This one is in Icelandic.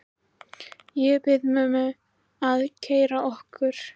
Ég bið mömmu að keyra okkur.